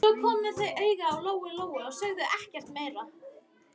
Svo komu þau auga á Lóu-Lóu og sögðu ekkert meira.